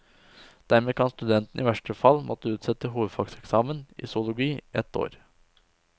Dermed kan studenten i verste fall måtte utsette hovedfagseksamen i zoologi ett år.